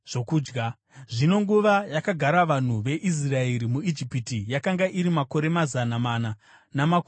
Zvino nguva yakagara vanhu veIsraeri muIjipiti yakanga iri makore mazana mana namakumi matatu.